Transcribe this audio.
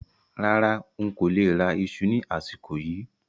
Rárá, ń kó lè rà ìṣù ni àsìkò yìí